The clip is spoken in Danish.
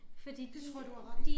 Det tror jeg du har ret i